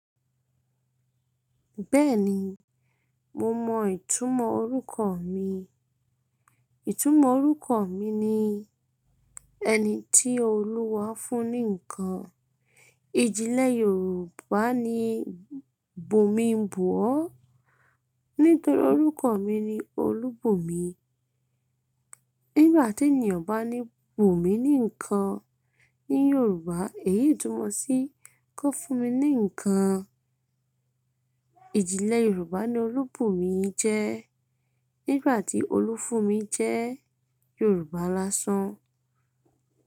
Bẹ́ẹ̀ni, mo mọ ìtumọ̀ orúkọ mi. Ìtumọ̀ orúkọ mi ni ẹni tí Olúwa fún ní ǹkan. Ìjìnlẹ̀ Yorùbá ní Bùnmi ń bù ọ́, nítorí orúkọ mi ni Olúbùnmi. Nígbà tí ènìyàn bá ní bùnmi ní ǹkan ní Yorùbá, èyí tùmọ̀ sí kan fún mi ní ǹkan. Yorùbá ni Olúbùnmi jẹ́ nígbà tí Olú fún mi jẹ́ Yorùbá lásán.